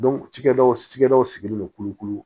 cikɛdaw cikɛdaw sigilen don kulukulu